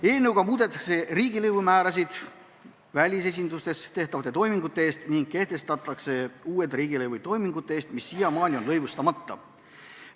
Eelnõuga muudetakse riigilõivumäärasid välisesindustes tehtavate toimingute eest ning kehtestatakse uued riigilõivud toimingute eest, mis siiamaani on olnud lõivustamata.